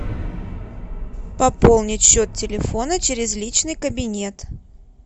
пополнить счет телефона через личный кабинет